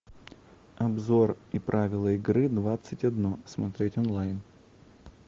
обзор и правила игры двадцать одно смотреть онлайн